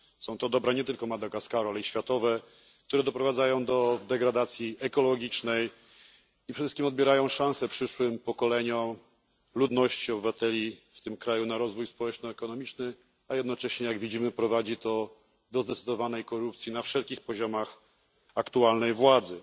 Są to dobra nie tylko Madagaskaru, ale i światowe, a ich nadmierna eksploatacja doprowadza do degradacji ekologicznej i przede wszystkim odbiera szansę przyszłym pokoleniom ludności, obywateli w tym kraju na rozwój społeczno ekonomiczny, a jednocześnie, jak widzimy, prowadzi to do zdecydowanej korupcji na wszelkich szczeblach aktualnej władzy.